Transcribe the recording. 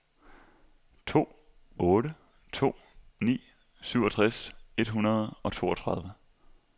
to otte to ni syvogtres et hundrede og toogtredive